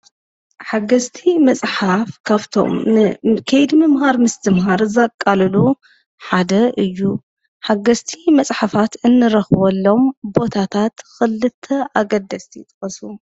ሓገዝቲ መፅሓፍ ካብቶም ከይዲ ምምሃር ምስትምሃር ዘቃልሉ ሓደ እዩ። ሓገዝቲ መፅሓፋት እንረክበሎም ቦታታት ክልተ ኣገደስቲ ጥቀሱ ?